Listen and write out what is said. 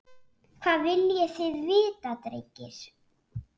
Hvað viljið þið vita drengir?